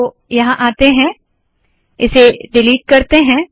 तो यहाँ आते है इसे डिलीट करते है